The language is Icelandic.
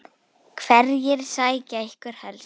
Hverjir sækja ykkur helst heim?